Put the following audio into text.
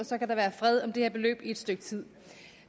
så kan der være fred om det her beløb i et stykke tid